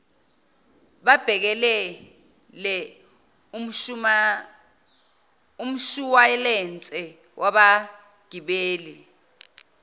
babhekelele umshuwalense wabagibeli